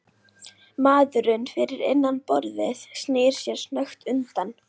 Maðurinn fyrir innan borðið snýr sér snöggt undan.